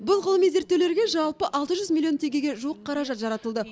бұл ғылыми зерттеулерге жалпы алты жүз миллион теңгеге жуық қаражат жаратылды